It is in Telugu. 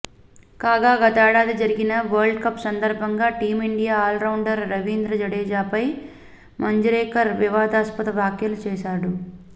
కాగా గతేడాది జరిగిన వరల్డ్కప్ సందర్భంగా టీమిండియా ఆల్రౌండర్ రవీంద్ర జడేజా పై మంజ్రేకర్ వివాదాస్పద వ్యాఖ్యలు చేశాడు